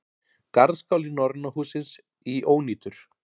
Garðskáli Norræna hússins í ónýtur